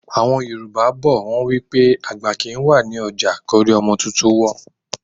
Àwọn Yorùbá bọ̀, wọn wípé àgbà kì ń wà ní ọjà kí orí ọmọ tuntun kó wọ́.